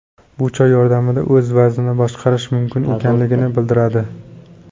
Bu choy yordamida o‘z vaznini boshqarish mumkin ekanligini bildiradi.